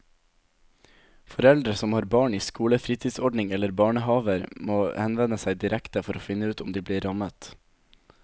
Foreldre som har barn i skolefritidsordning eller barnehaver må henvende seg direkte for å finne ut om de blir rammet.